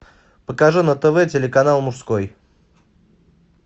покажи на тв телеканал мужской